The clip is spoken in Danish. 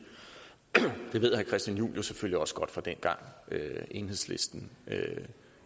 ved herre christian juhl selvfølgelig også godt fra dengang enhedslisten